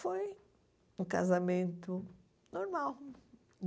Foi um casamento normal,